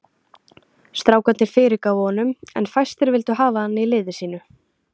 Strákarnir fyrirgáfu honum en fæstir vildu hafa hann í liði sínu.